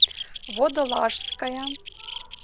водолажская